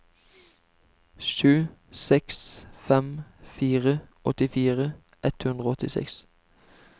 sju seks fem fire åttifire ett hundre og åttiseks